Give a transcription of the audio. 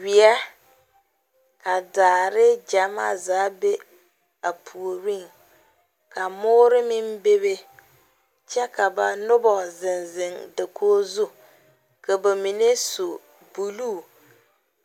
wie ka daare gyamaa zaa be a puoriŋ , ka moɔre meŋ bebe kyɛ ka ba Noba zeŋ zeŋ dakori zu ka ba mine su buluu